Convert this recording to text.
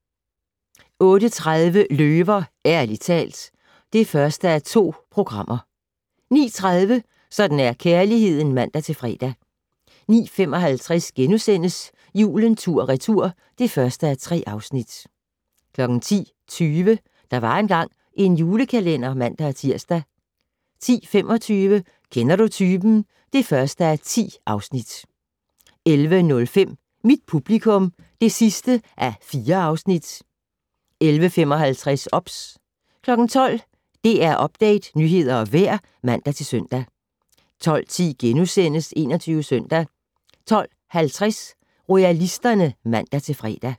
08:30: Løver - ærligt talt (1:2) 09:30: Sådan er kærligheden (man-fre) 09:55: Julen tur/retur (1:3)* 10:20: Der var engang en julekalender (man-tir) 10:25: Kender du typen? (1:10) 11:05: Mit publikum (4:4) 11:55: OBS 12:00: DR Update - nyheder og vejr (man-søn) 12:10: 21 Søndag * 12:50: Royalisterne (man-fre)